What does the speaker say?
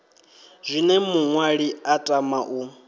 zwine muṅwali a tama u